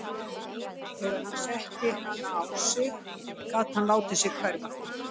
Þegar hann setti hana á sig gat hann látið sig hverfa.